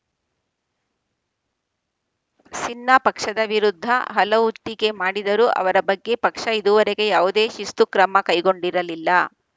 ಸಿನ್ಹಾ ಪಕ್ಷದ ವಿರುದ್ಧ ಹಲವು ಟೀಕೆ ಮಾಡಿದರೂ ಅವರ ಬಗ್ಗೆ ಪಕ್ಷ ಇದುವರೆಗೆ ಯಾವುದೇ ಶಿಸ್ತು ಕ್ರಮ ಕೈಗೊಂಡಿರಲಿಲ್ಲ